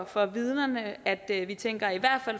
for vidnerne at vi tænker at vi